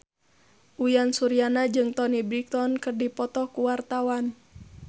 Uyan Suryana jeung Toni Brexton keur dipoto ku wartawan